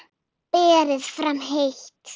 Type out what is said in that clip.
Berið fram heitt.